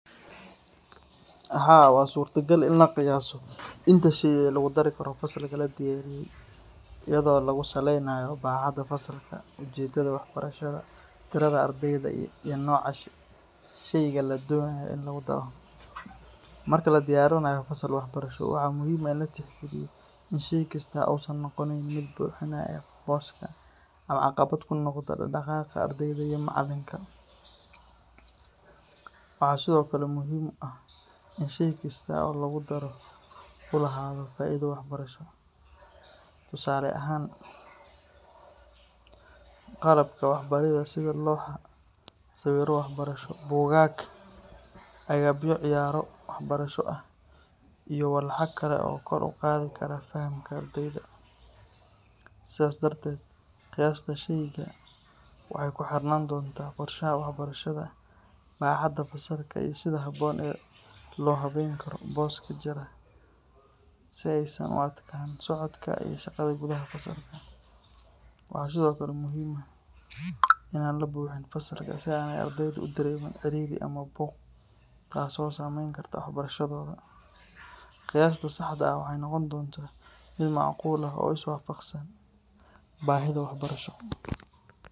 Haa wa surtagal in laqaayaso intashey lagudari Karo fasalkaa ladiyariyee iyadayo lagusaleynaayo bacadaa fasalka ujeedadha wahbarashadha tiradha ardeydaa iyo nooca shaygaa ladoonayo iin lagudaaro marka ladiiyarinaayo fasal wax barashoo waxaa muhiim ah iin latix gaaliyo iin shaay kasto uu miid buu xinayo booska ama caqabad ku noqdo dhaaqdhaqaqa ardayda ama macaalinka waxa sidokale muhiim u ah iin shay kasto oo lagudaaro u lahado faaido wax barashoo Tusaalo ahaan qalabka wax barashado sida looxa sawiro wax barashoo Boogaag agaabyo Ciyaaro wax barasho ah iyo wax kale oo kor u qaadi Karo fahamka ardaydaa sidas dartet qiyasta sheyga waxey ku xirnan doonta qorshaha wax barashada baxada fasalka lyo sida haboon loo haween karo booska jiraa si Eysan u adkaanin socodka iyo shaqadha gudhaha kasocoto waxa sidokle muhiim ah inan labuxiin fasalko si Eysan ey na ardeyda u dareemin ciiriri ama buuq kaaso sameen karto wax barashaadoda qiyasta saxda waxey noqon doonta miid macquul ah oo is waafaqsan bahida wax barashoo.